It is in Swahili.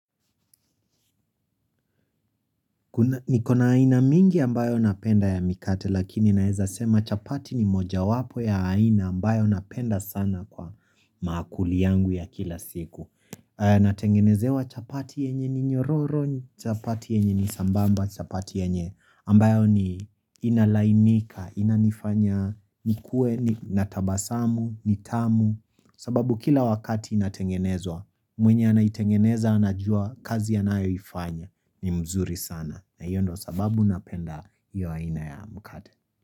Nikona aina mingi ambayo napenda ya mikate lakini naweza sema chapati ni moja wapo ya aina ambayo napenda sana kwa makuli yangu ya kila siku Natengenezewa chapati yenye ni nyororo, chapati yenye ni sambamba, chapati yenye ambayo ni inalainika, inanifanya, nikuwe, natabasamu, nitamu sababu kila wakati inatengenezwa, mwenye anaitengeneza anajua kazi anayo ifanya ni mzuri sana. Na hiyo ndo sababu ninapenda hiyo aina ya mkate.